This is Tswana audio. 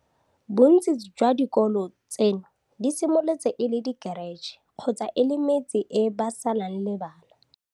Bontsi jwa dikolo tseno di simolotse e le dikheretšhe kgotsa e le metse e ba salang le bana.